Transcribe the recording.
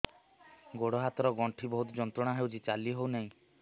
ଗୋଡ଼ ହାତ ର ଗଣ୍ଠି ବହୁତ ଯନ୍ତ୍ରଣା ହଉଛି ଚାଲି ହଉନାହିଁ